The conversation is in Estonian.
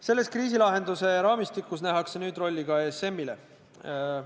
Selles kriisilahenduse raamistikus nähakse nüüd rolli ka ESM-ile.